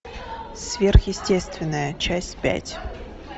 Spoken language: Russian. сверхъестественное часть пять